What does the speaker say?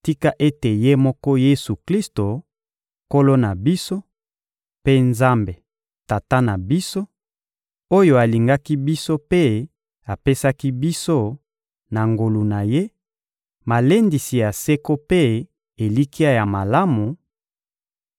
Tika ete Ye moko Yesu-Klisto, Nkolo na biso, mpe Nzambe, Tata na biso, oyo alingaki biso mpe apesaki biso, na ngolu na Ye, malendisi ya seko mpe elikya ya malamu,